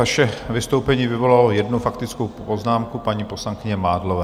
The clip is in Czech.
Vaše vystoupení vyvolalo jednu faktickou poznámku, paní poslankyně Mádlové.